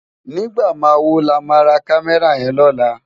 Nigbá má wó lá má rá Kàmèrá yèn lòlá?